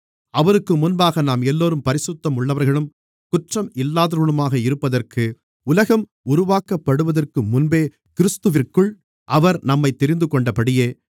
அவருக்கு முன்பாக நாம் எல்லோரும் பரிசுத்தம் உள்ளவர்களும் குற்றம் இல்லாதவர்களுமாக இருப்பதற்கு உலகம் உருவாக்கப்படுவதற்கு முன்பே கிறிஸ்துவிற்குள் அவர் நம்மைத் தெரிந்துகொண்டபடியே